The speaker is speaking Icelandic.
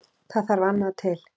Það þarf annað til.